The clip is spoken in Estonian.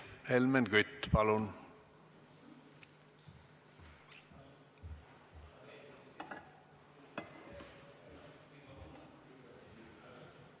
Helmen Kütt, palun!